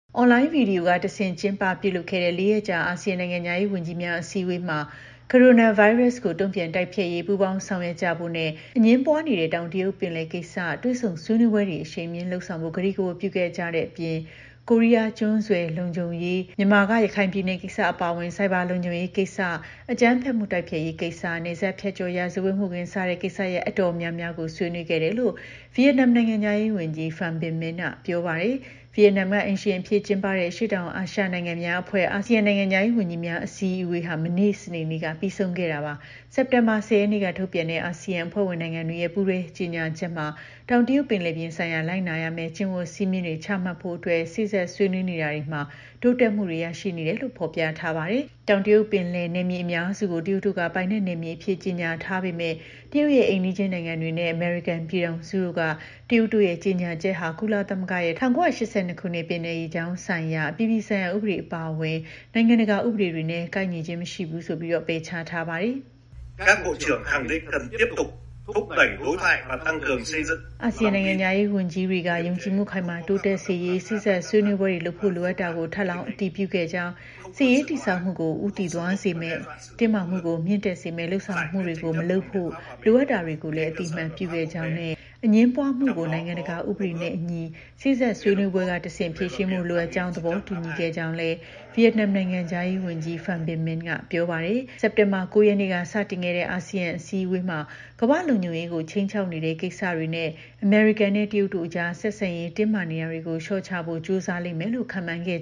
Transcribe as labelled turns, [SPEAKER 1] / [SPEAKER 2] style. [SPEAKER 1] အွန်လိုင်းဗွီဒီယိုကတဆင့် ကျင်းပပြုလုပ်ခဲ့တဲ့ ၄ ရက်ကြာ အာဆီယံ နိုင်ငံခြားရေးဝန်ကြီးများ အစည်းအဝေးမှာ ကိုရိုနာဗိုင်းရပ်စ်ကို တုံ့ပြန်တိုက်ဖျက်ရေး ပူးပေါင်း ဆောင်ရွက်ကြဖို့နဲ့ အငြင်းပွားနေတဲ့ တောင်တရုတ်ပင်လယ်ကိစ္စ တွေ့ဆုံဆွေးနွေးပွဲတွေ အရှိန်မြှင့် လုပ်ဆောင်ဖို့ ကတိကဝတ် ပြုခဲ့ကြတဲ့အပြင် ကိုရီးယားကျွန်းဆွယ် လုံခြုံရေး၊ မြန်မာက ရခိုင်ပြည်နယ်ကိစ္စ အပါအဝင် ဆိုက်ဘာလုံခြုံရေးကိစ္စ၊ အကြမ်းဖက်မှု တိုက်ဖျက်ရေးကိစ္စ၊ နယ်စပ်ဖြတ်ကျော် ရာဇဝတ်မှုခင်း စတဲ့ ကိစ္စရပ် တော်တော်များများကိုလည်း ဆွေးနွေးခဲ့တယ်လို့ ဗီယက်နမ် နိုင်ငံခြားရေးဝန်ကြီး Pham Binh Minh က ပြောပါတယ်။ ဗီယက်နမ်က အိမ်ရှင်အဖြစ်ကျင်းပတဲ့ အရှေ့တောင်အာရှ နိုင်ငံများအဖွဲ့ (ASEAN) နိုင်ငံခြားရေးဝန်ကြီးများ အစည်းအဝေး မနေ့ စနေနေ့က ပြီးဆုံးခဲ့တာပါ။ စက်တင်ဘာလ ၁၀ ရက်နေ့က ထုတ်ပြန်တဲ့ အာဆီယံအဖွဲ့ဝင် နိုင်ငံတွေရဲ့ ပူးတွဲ ကြေညာချက်မှာတော့ တောင်တရုတ်ပင်လယ်ပြင်ဆိုင်ရာ လိုက်နာရမယ့် ကျင့်ဝတ်စည်းမျဉ်းတွေ ချမှတ်ဖို့အတွက် စေ့စပ်ဆွေးနွေးနေတာတွေမှာ တိုးတက်မှုတွေ ရရှိနေတယ်လို့ ဖော်ပြထားပါတယ်။ တောင်တရုတ်ပင်လယ် နယ်မြေအများစုကို တရုတ်တို့က ပိုင်နက်နယ်မြေအဖြစ် ကြေညာထားပေမယ့် တရုတ်ရဲ့ အိမ်နီးချင်းနိုင်ငံတွေနဲ့ အမေရိကန် ပြည်ထောင်စုတို့က တရုတ်တို့ရဲ့ ကြေညာချက်ဟာ ကုလသမဂ္ဂရဲ့ ၁၉၈၂ ခုနှစ် ပင်လယ်ရေကြောင်းဆိုင်ရာ အပြည်ပြည်ဆိုင်ရာ ဥပဒေ အပါအဝင် နိုင်ငံတကာ ဥပဒေတွေနဲ့ ကိုက်ညီခြင်း မရှိဘူးဆိုပြီး ပယ်ချထားပါတယ်။ အာဆီယံ နိုင်ငံခြားရေးဝန်ကြီးတွေက ယုံကြည်မှု ခိုင်မာတိုးတက်စေရေး စေ့စပ်ဆွေးနွေးပွဲတွေလုပ်ဖို့ လိုအပ်တာကို ထပ်လောင်း အတည်ပြုခဲ့ကြောင်း၊ စစ်ရေးတည်ဆောက်မှုကို ဦးတည်သွားစေမယ့် တင်းမာမှုကို မြင့်တက်စေမယ့် လုပ်ဆောင်မှုမျိုးတွေ မလုပ်ဖို့ လိုအပ်တာကိုလည်း အသိအမှတ်ပြုခဲ့ကြောင်းနဲ့ အငြင်းပွားမှုကို နိုင်ငံတကာ ဥပဒေနဲ့အညီ စေ့စပ်ဆွေးနွေးပွဲကတဆင့် ဖြေရှင်းဖို့ လိုအပ်ကြောင်းကို သဘောတူညီခဲ့ကြောင်း ဗီယက်နမ် နိုင်ငံခြားရေးဝန်ကြီး Pham Binh Minh က ပြောပါတယ်။ စက်တင်ဘာလ ၉ ရက်နေ့က စတင်ခဲ့တဲ့ အာဆီယံ အစည်းအဝေးမှာ ကမ္ဘာ့လုံခြုံရေးကို ခြိမ်းခြောက်နေတဲ့ ကိစ္စတွေနဲ့ အမေရိကန်နဲ့ တရုတ်တို့အကြား ဆက်ဆံရေး တင်းမာနေတာကို လျှော့ချဖို့ ကြိုးစားလိမ့်မယ်လို့ ခန့်မှန်းထားခဲ့